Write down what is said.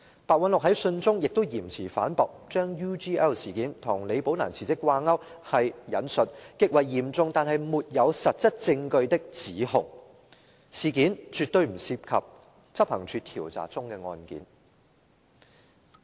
白韞六在信中亦嚴詞反駁，將 UGL 事件與李寶蘭辭職掛鈎是極為嚴重但沒有實質證據的指控，事件絕對不涉及執行處調查中的案件。